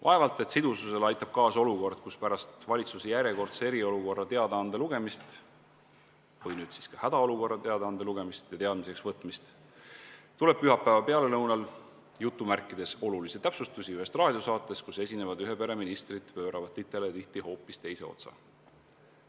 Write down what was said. Vaevalt et sidususele aitab kaasa olukord, kus pärast valitsuse järjekordse eriolukorra teadaande lugemist – või nüüd siis ka hädaolukorra teadaande lugemist – ja teadmiseks võtmist tuleb pühapäeva pealelõunal "olulisi täpsustusi" ühest raadiosaatest, kus esinevad ühe pere ministrid pööravad titele hoopis teise otsa.